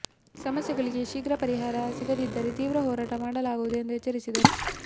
ಸಮಸ್ಯೆಗಳಿಗೆ ಶೀಘ್ರ ಪರಿಹಾರ ಸಿಗದಿದ್ದರೆ ತೀವ್ರ ಹೋರಾಟ ಮಾಡಲಾಗುವುದು ಎಂದು ಎಚ್ಚರಿಸಿದರು